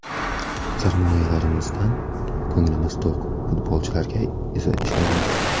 Sarmoyalarimizdan ko‘nglimiz to‘q, futbolchilarga esa ishonamiz.